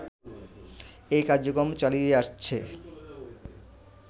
এ কার্যক্রম চালিয়ে আসছে